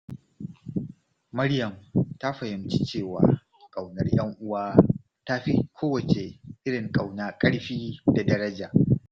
Maryam ta fahimci cewa ƙaunar ‘yan uwa ta fi kowace irin ƙauna ƙarfi da daraja.